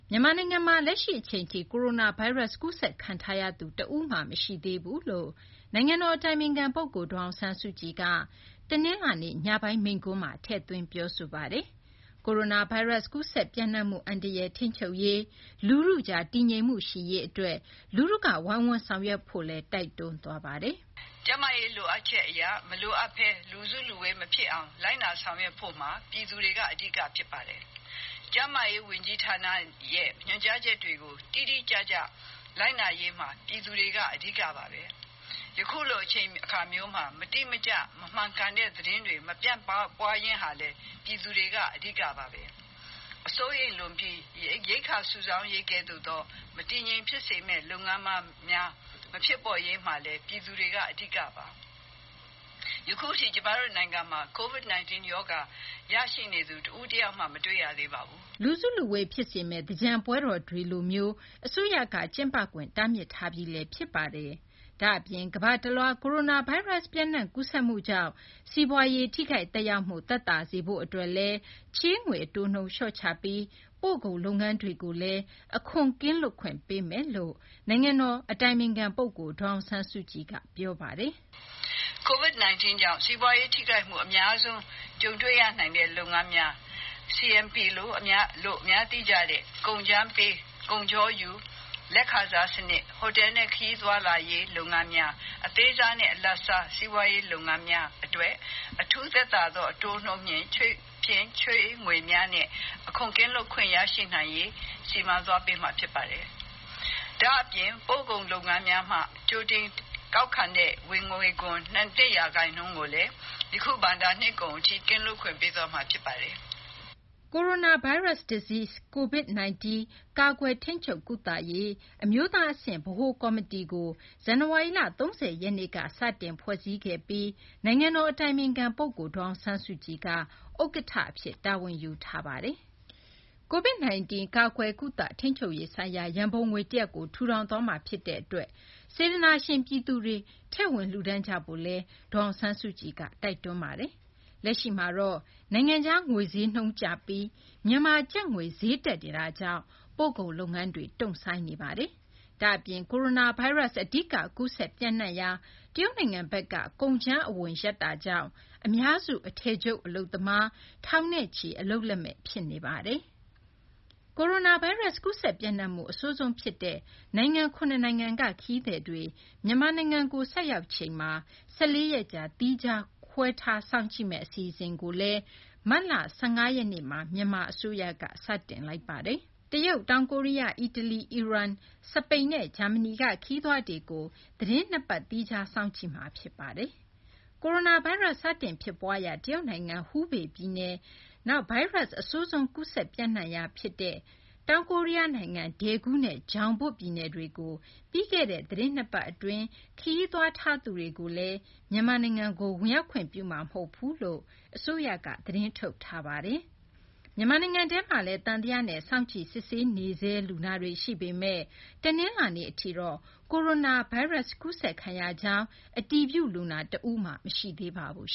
မြန်မာနိုင်ငံမှာ လက်ရှိ အချိန်ထိ ကိုရိုနာဗိုင်းရပ်စ် ကူးစက်ခံထားရသူ တဦးမှ မရှိသေးကြောင်း နိုင်ငံတော် အတိုင်ပင်ခံ ပုဂ္ဂိုလ် ဒေါ်အောင်ဆန်းစုကြည်က တနလာၤနေ့ ညပိုင်း မိန့်ခွန်းမှာ ထည့်သွင်း ပြောဆိုသွားပါတယ်။ ကိုရိုနာဗိုင်းရပ်စ် ကူးစက် ပျံ့နှံ့မှု အန္တရာယ်ကို ထိန်းချုပ်ရေး၊ လူထုကြား တည်ငြိမ်မှု ရှိရေးအတွက် လူထုက ဝိုင်းဝန်း ဆောင်ရွက်ကြဖို့လည်း တိုက်တွန်းသွားပါတယ်။ "ကျန်းမာရေးလိုအပ်ချက်အရ မလိုအပ်ဘဲ လူစုလူဝေးမဖြစ်အောင် လိုက်နာဆောင်ရွက်ဖို့မှာ ပြည်သူတွေက အဓိက ဖြစ်ပါတယ်။ ကျန်းမာရေးဝန်ကြီးဌာနရဲ့ ညွှန်ကြားချက်တွေကို တိတိကျကျ လိုက်နာရေးမှာ ပြည်သူတွေက အဓိကပါပဲ။ ယခုလို အချိန်အခါမျိုးမှာ မတိမကျ မမှန်ကန်တဲ့သတင်းတွေ မပြန့်ပွားရေးဟာလည်း ပြည်သူတွေက အဓိကပါပဲ။ စိုးရိမ်လွန်ပြီး ရိက္ခာစုဆောင်းရေးကဲ့သို့သော မတည်မငြိမ်ဖြစ်စေမယ့် လုပ်ငန်းများ မဖြစ်ပေါ်ရေးမှာလည်း ပြည်သူတွေက အဓိကပါ။ ယခုထိ ကျမတို့ နိုင်ငံမှာ Covid-19 ရောဂါ ရရှိနေသူ တဦးတယောက်မှ မတွေ့ရသေးပါဘူး။" လူစုလူဝေး ဖြစ်စေမယ့် သင်္ကြန်ပွဲတော်တွေကိုလည်း အစိုးရက ကျင်းပခွင့် တားမြစ်ထားပြီး ဖြစ်ပါတယ်။ ဒါ့အပြင် ကမ္ဘာတလွှား ကိုရိုနာဗိုင်းရပ်စ် ပျံ့နှံ့ ကူးစက်မှုကြောင့် စီးပွားရေး ထိခိုက်သက်ရောက်မှု သက်သာစေရေးအတွက်လည်း ချေးငွေ အတိုးနှုန်း လျှော့ချပေးပြီး ပို့ကုန် လုပ်ငန်းများအတွက်လည်း အခွန် ကင်းလွတ်ခွင့်ပေးမယ်လို့ နိုင်ငံတော် အတိုင်ပင်ခံ ပုဂ္ဂိုလ် ဒေါ်အောင်ဆန်းစုကြည်က မိန့်ခွန်းမှာ ပြောဆိုသွားပါတယ်။ "Covid-19 ကြောင့် စီးပွားရေးထိခိုက်မှု အများဆုံး ကြုံတွေ့ရနိုင်တဲ့ လုပ်ငန်းများ CNP လို့ အများသိကျတဲ့ ကုန်းကြမ်းပေး ကုန်ချောယူ လက်ခံစားစနစ်၊ ဟိုတယ်နဲ့ ခရီးသွားလာရေးလုပ်ငန်းများ၊ အသေးစားနဲ့ အလတ်စား စီးပွားရေးလုပ်ငန်းများအတွက် အထူးသက်သာသောအတိုးနှုန်း ချေးငွေများနဲ့ အခွန်ကင်းလွတ်ခွင့် ရရှိနိုင်ရေး စီမံသွားပေးမှာ ဖြစ်ပါတယ်။ ဒါ့အပြင် ပို့ကုန်လုပ်ငန်းများမှ ကြိုတင်ကောက်ခံတဲ့ ဝင်ငွေခွန် နှစ်ရာခိုင်နှုန်းကိုလည်း ယခု ဘဏ္ဍာနှစ်ကုန်အထိ ကင်းလွတ်ခွင့်ပေးသွားမှာ ဖြစ်ပါတယ်။" Coronavirus Disease ကာကွယ်၊ ထိန်းချုပ်၊ ကုသရေး အမျိုးသားအဆင့် ဗဟိုကော်မီတီကို ဇန်နဝါရီလ ၃၀ ရက်နေ့က စတင်ဖွဲ့စည်းခဲ့ပြီး နိုင်ငံတော်အတိုင်ပင်ခံပုဂ္ဂိုလ် ဒေါ်အောင်ဆန်းစုကြည်က ဥက္ကဋ္ဌအဖြစ် တာဝန်ယူထားပါတယ်။ Covid-19 ကာကွယ်၊ ကုသ ထိန်းချုပ်ရေးဆိုင်ရာ ရန်ပုံငွေတရပ်ကို ထူထောင်သွားမှာ ဖြစ်တဲ့အတွက် စေတနာရှင် ပြည်သူတွေက ထည့်ဝင် လှုဒါန်းကြဖို့လည်း ဒေါ်အောင်ဆန်းစုကြည်က တိုက်တွန်းထားပါတယ်။ လက်ရှိ အနေအထားမှာတော့ နိုင်ငံခြား ငွေဈေးနှုန်းကျပြီး မြန်မာ ကျပ်ငွေ ဈေးနှုန်း တက်နေတာကြောင့် ပို့ကုန်လုပ်ငန်းတွေ တုံ့ဆိုင်းနေပါတယ်။ ဒါ့အပြင် ကိုရိုနာဗိုင်းရပ်စ် အဓိက ကူးစက် ပျံ့နှံ့ရာ တရုတ်နိုင်ငံဘက်က ကုန်ကြမ်းအဝင် ရပ်သွားတာကြောင့် အများစု အထည်ချုပ် အလုပ်သမား ထောင်နဲ့ချီ အလုပ်လက်မဲ့ ဖြစ်နေပါတယ်။ တရုတ်၊ တောင်ကိုရီးယား၊ အီတလီ၊ အီရန်၊ စပိန် နဲ့ ဂျာမနီက ခရီးသွားတွေကို သီးတင်း ၂ ပတ် သီးခြားစောင့်ကြည့်တာ ဖြစ်ပါတယ်။ ကိုရိုနာဗိုင်းရပ်စ် စတင် ဖြစ်ပွားရာ တရုတ်နိုင်ငံ ဟူဘေး ပြည်နယ်၊ နောက် ဗိုင်းရပ်စ် အဆိုးဆုံး ကူးစက်ပျံ့နှံ့ရာ ဒေသ တခုဖြစ်တဲ့ တောင်ကိုရီးယားနိုင်ငံ ဒယ်ဂူးနဲ့ ဂျောင်ဘွတ် ပြည်နယ်တွေကို ပြီးခဲ့တဲ့ သီတင်း ၂ ပတ် အတွင်း ခရီးသွားတဲ့ သူတွေကိုတော့ မြန်မာနိုင်ငံကို ဝင်ရောက်ခွင့်ပြုမှာ မဟုတ်ဘူးလို့ အစိုးရက သတင်းထုတ်ထားပါတယ်။ မြန်မာနိုင်ငံထဲမှာလည်း သံသယနဲ့ စောင့်ကြည့် စစ်ဆေးနေဆဲ လူနာတွေ ရှိပေမဲ့ တနလာၤနေ့ အထိတော့ ကိုရိုနာဗိုင်းရပ်စ် ကူးစက်ခံရကြောင်း အတည်ပြု လူနာ တဦးမှ မရှိသေးပါဘူး